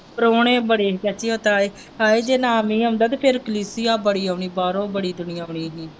ਪ੍ਰਾਹੁਣੇ ਬੜੇ ਹੀ ਚਾਚੀ ਉਹ ਤੇ ਆਏ ਹਾਏ ਜੇ ਨਾ ਨਹੀਂ ਆਉਂਦਾ ਤੇ ਫਿਰ ਕਲੀਸੀਆ ਬੜੀ ਆਉਣੀ ਬਾਹਰੋਂ ਬੜੀ ਦੁਨੀਆਂ ਆਉਣੀ ਹੀ।